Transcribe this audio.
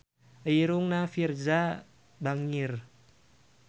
Irungna Virzha bangir